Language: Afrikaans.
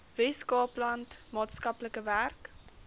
weskaapland maatskaplike werk